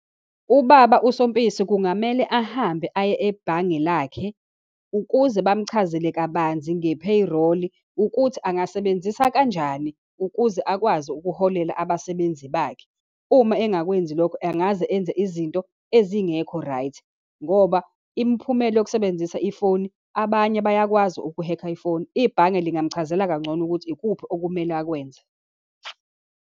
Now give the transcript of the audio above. Ubaba uSompisi kungamele ahambe aye ebhange lakhe ukuze bamchazele kabanzi nge-payroll, ukuthi angasebenzisa kanjani ukuze akwazi ukuholela abasebenzi bakhe. Uma engakwenzi lokho angaze enze izinto ezingekho right, ngoba imiphumela yokusebenzisa ifoni, abanye bayakwazi uku-hack-a ifoni. Ibhange lingamchazela kangcono ukuthi ikuphi okumele akwenze.